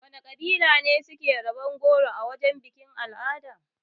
Wana kabila ne suke raba goro a wajan bikin-al'ada?